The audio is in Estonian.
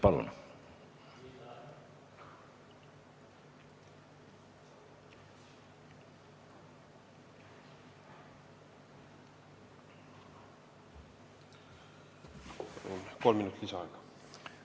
Palun kolm minutit lisaaega!